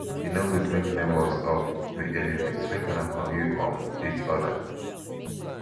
e no good make nebors um be enemies make una forgive um each oda